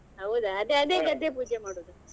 ಹೌದಾ ಅದೇ ಅದೇ ಗದ್ದೆ ಪೂಜೆ ಮಾಡುದು.